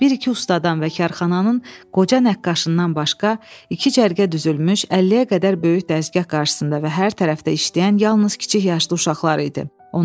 Bir-iki ustadan və karxananın qoca nəqqaşından başqa, iki cərgə düzülmüş 50-yə qədər böyük dəzgah qarşısında və hər tərəfdə işləyən yalnız kiçik yaşlı uşaqlar idi.